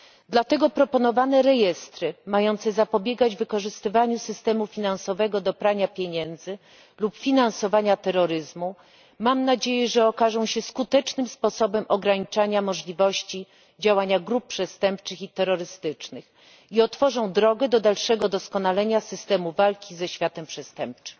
Dlatego proponowane rejestry mające zapobiegać wykorzystywaniu systemu finansowego do prania pieniędzy lub finansowania terroryzmu, mam nadzieję, że okażą się skutecznym sposobem ograniczania możliwości działania grup przestępczych i terrorystycznych i otworzą drogę do dalszego doskonalenia systemu walki ze światem przestępczym.